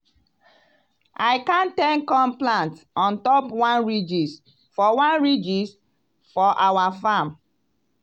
i count ten corn plant ontop one ridges for one ridges for our farm.